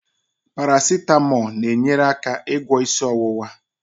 Parasetamo na-enyere aka ịgwọ isi ọwụwa.